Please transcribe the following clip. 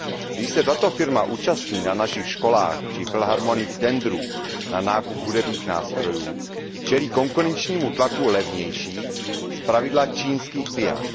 Když se tato firma účastní na našich školách či filharmoniích tendrů na nákup hudebních nástrojů, čelí konkurenčnímu tlaku levnějších, zpravidla čínských pian.